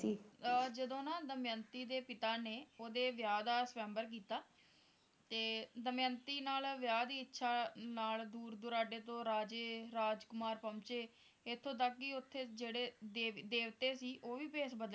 ਅਹ ਜਦੋਂ ਨਾਂ ਦਮਯੰਤੀ ਦੇ ਪਿਤਾ ਨੇਂ ਓਹਦੇ ਵਿਆਹ ਦਾ ਸ੍ਵਯੰਬਰ ਕੀਤਾ ਤੇ ਦਮਯੰਤੀ ਨਾਲ ਵਿਆਹ ਦੀ ਇੱਛਾ ਨਾਲ ਦੂਰ ਦੁਰਾਡੇ ਤੋਂ ਰਾਜੇ ਰਾਜਕੁਮਾਰ ਪਹੁੰਚੇ ਇੱਥੋਂ ਤੱਕ ਕਿ ਉੱਥੇ ਜਿਹੜੇ ਦੇਵ`ਦੇਵਤੇ ਸੀ ਉਹ ਵੀ ਭੇਸ ਬਦਲ